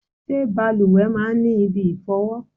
Ṣé bàlùwẹ̀ máa ń ní ibi ìfọ̀wọ?